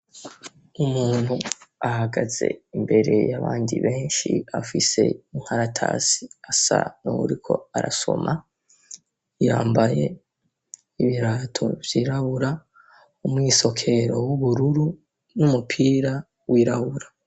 Umuntu ahagaze imbere y'abandi benshi afise inkaratasi asa n'uwuriko arasoma, yambaye ibirato vyirabura, umwisokero w'ubururu, n'umupira wirabura.